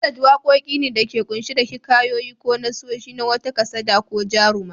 Ballad waqoqi ne da ke qunshe da hikayoyi ko nassoshi na wata kasada ko jaruma.